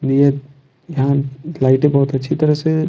ये यहां लाइटें बहुत अच्छी तरह से--